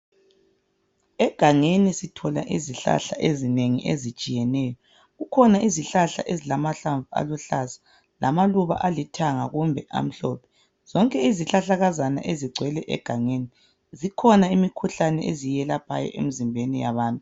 Egangeni sithola izihlahla ezinengi ezitshiyeneyo kukhona izihlahla ezilamanhlamvu aluhlaza lamaluba alithanga kumbe amhlophe zonke izihlahlakazana ezigcwele egangeni zikhona izikhuhlane eziyelaphayo emzimbeni yabantu